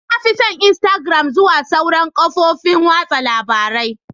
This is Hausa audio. Na fi son instagram zuwa sauran kafofin watsa labarun.